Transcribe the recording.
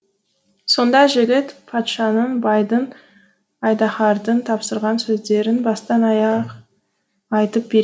сонда жігіт патшаның байдың айдаһардың тапсырған сөздерін бастан аяқ айтып